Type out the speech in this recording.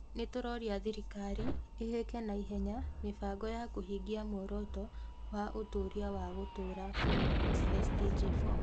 Nĩ tũroria thirikari ĩhĩke na ihenya mĩbango ya kũhingia muoroto wa ũtuĩria wa gũtũũra 4 (SDG4).